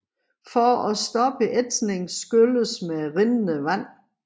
For at stoppe ætsningen skylles med rindende vand